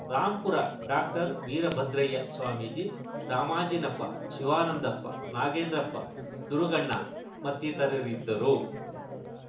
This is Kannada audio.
ರಾಂಪುರ ಡಾಕ್ಟರ್ವೀರ ಭದ್ರಯ್ಯ ಸ್ವಾಮೀಜಿ ರಾಮಾಂಜಿನಪ್ಪ ಶಿವಾನಂದಪ್ಪ ನಾಗೇಂದ್ರಪ್ಪ ದುರುಗಣ್ಣ ಮತ್ತಿತರರಿದ್ದರು